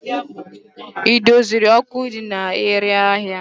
Ị doziri ọkụ ndị na-ere ahịa?